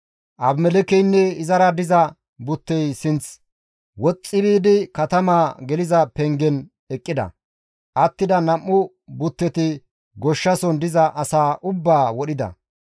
Abimelekkeynne izara diza buttey sinth woxxi biidi katamaa geliza pengen eqqida; attida nam7u butteti goshshason diza asaa ubbaa wodhida.